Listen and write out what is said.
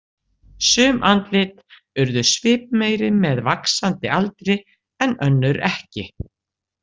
Sum andlit urðu svipmeiri með vaxandi aldri en önnur ekki.